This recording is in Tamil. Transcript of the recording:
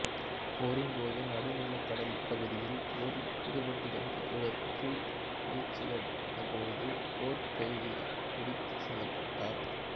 போரின்போது நடுநிலக்கடல் பகுதியில் போரில் ஈடுபட்டிருந்த இவர் கிரீட் வீழ்ச்சியடைந்தபோது போர்க் கைதியாகப் பிடித்துச் செல்லப்பட்டார்